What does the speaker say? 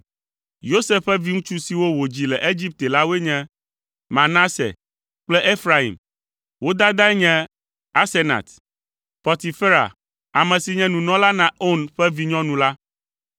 Yosef ƒe viŋutsu siwo wòdzi le Egipte la woe nye: Manase kple Efraim. Wo dadae nye Asenat, Potifera, ame si nye nunɔla na On ƒe vinyɔnu la.